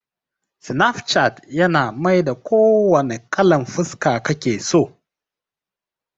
Snapchat yana maida ko wanna kalan fuska kake so